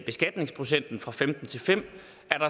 beskatningsprocenten fra femten til fem